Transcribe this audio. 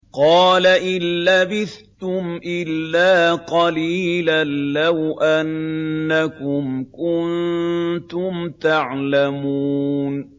قَالَ إِن لَّبِثْتُمْ إِلَّا قَلِيلًا ۖ لَّوْ أَنَّكُمْ كُنتُمْ تَعْلَمُونَ